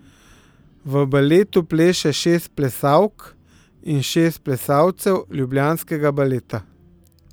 V baletu pleše šest plesalk in šest plesalcev ljubljanskega Baleta.